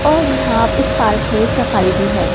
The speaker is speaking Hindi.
और यहां इस पार्क में सफाई भी है।